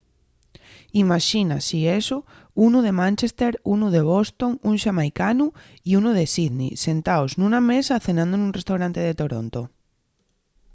imaxina si eso unu de manchester unu de boston un xamaicanu y unu de sydney sentaos nuna mesa cenando nun restaurante de toronto